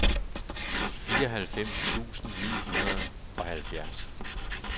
fireoghalvfems tusind ni hundrede og halvfjerds